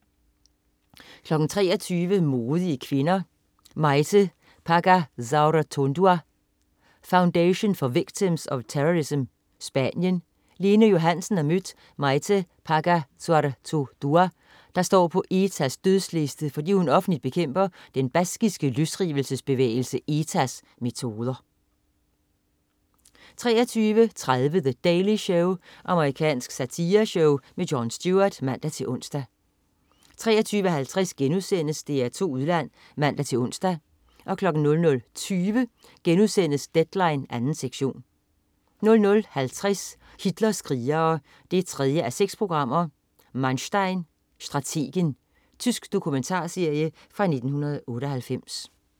23.00 Modige kvinder. Maite Pagazaurtundua, Foundation for Victims of Terrorism, Spanien. Lene Johansen har mødt Maite Pagazaurtundua, der står på ETA's dødsliste, fordi hun offentligt bekæmper den baskiske løsrivelsesbevægelse ETA's metoder 23.30 The Daily Show. Amerikansk satireshow. Jon Stewart (man-ons) 23.50 DR2 Udland* (man-ons) 00.20 Deadline 2. sektion* 00.50 Hitlers krigere: 3:6. Manstein. Strategen. Tysk dokumentarserie fra 1998